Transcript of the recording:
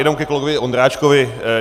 Jenom ke kolegovi Ondráčkovi.